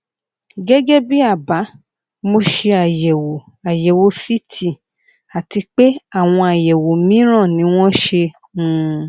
gẹgẹ bí àbá mo ṣe àyẹwò àyẹwò ct àti pé àwọn àyẹwò mìíràn ni wọn ṣe um